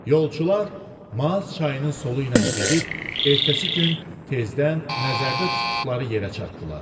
Yolçular Maas çayının solu ilə gedib, ertəsi gün tezdən nəzərdə tutduqları yerə çatdılar.